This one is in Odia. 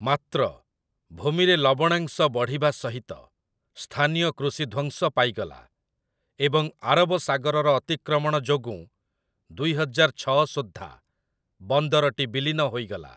ମାତ୍ର, ଭୂମିରେ ଲବଣାଂଶ ବଢ଼ିବା ସହିତ ସ୍ଥାନୀୟ କୃଷି ଧ୍ୱଂସ ପାଇଗଲା ଏବଂ ଆରବ ସାଗରର ଅତିକ୍ରମଣ ଯୋଗୁଁ ଦୁଇହଜାର ଛଅ ସୁଦ୍ଧା ବନ୍ଦରଟି ବିଲୀନ ହୋଇଗଲା ।